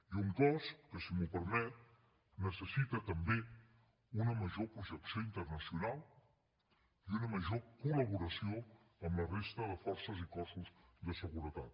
i un cos que si m’ho permet necessita també una major projecció internacional i una major col·laboració amb la resta de forces i cossos de seguretat